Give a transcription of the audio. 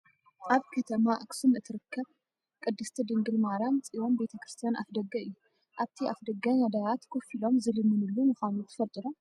ኣብ ከተማ ኣክሱም እትርከብ ቅድስቲ ድንግል ማርያም ፅዮን ቤተ-ክርስትያን ኣፍደገ እዩ። ኣብቲ ኣፍደገ ነዳያት ኮፍ ኢሎም ዝልሙኑሉ ምኳኑ ትፈልጡ ዶ ?